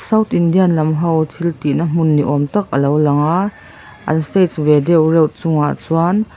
south Indian lam ho thil tihna hmun ni awm tak alo lang a an stage ve deuh reuh chungah chuan.